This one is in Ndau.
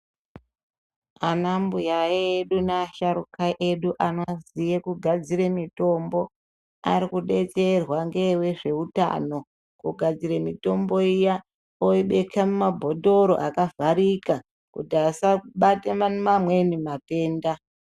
Ana mbuya edu neasharuka edu anoziya kugadzire mitombo arikubetserwa ngeezveutano kugadzira mitombo iya oibeka muzvibhotoro zvakavharika kuti isabate mamweni matenda.